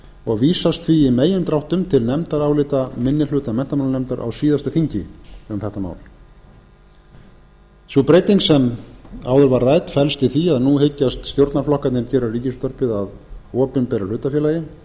og vísast því í megindráttum til nefndarálita minni hluta menntamálanefndar á síðasta þingi um þetta mál sú breyting sem áður var rædd felst í því að nú hyggjast stjórnarflokkarnir gera ríkisútvarpið að opinberu hlutafélagi